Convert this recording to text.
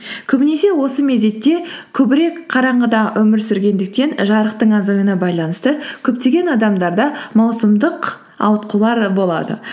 көбінесе осы мезетте көбірек қараңғыда өмір сүргендіктен жарықтың азаюына байланысты көптеген адамдарда маусымдық ауытқулар да болады